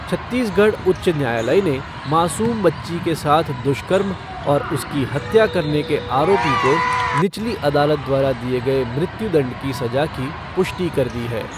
छत्तीसगढ़ उच्च न्यायालय ने मासूम बच्ची के साथ दुष्कर्म और उसकी हत्या करने के आरोपी को निचली अदालत द्वारा दिए गए मृत्युदंड की सजा की पुष्टि कर दी है।